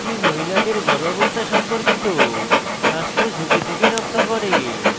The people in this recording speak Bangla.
এটি মহিলাদের গর্ভাবস্থা সম্পর্কিত স্বাস্থ্য ঝুঁকি থেকে রক্ষা করে